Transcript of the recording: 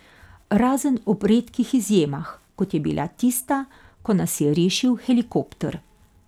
Razen ob redkih izjemah, kot je bila tista, ko nas je rešil helikopter.